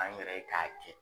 An yɛrɛ ye k'a kɛ.